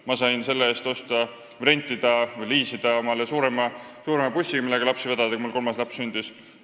Ma sain selle eest liisida omale suurema bussi, millega lapsi vedada, kui mul kolmas laps sündis.